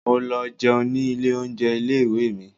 Mo lọ jẹun ní ilé oúnjẹ ilé ìwé mi.